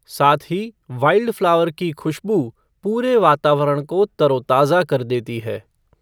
साथ ही वाइल्डफ़्लावर की खुशबू पूरे वातावरण को तरोताजा कर देती है।